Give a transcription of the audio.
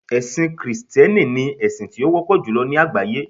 ẹsìn Kristẹni ni esin ti o wọpọ julọ ni àgbáyé